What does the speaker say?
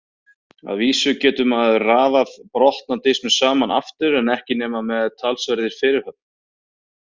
Að vísu getur maður raðað brotna disknum saman aftur en ekki nema með talsverðri fyrirhöfn.